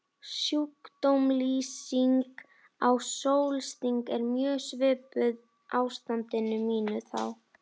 Sjúkdómslýsing á sólsting er mjög svipuð ástandi mínu þá.